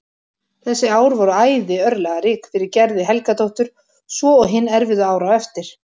Þessi ár voru æði örlagarík fyrir Gerði Helgadóttur svo og hin erfiðu ár á eftir.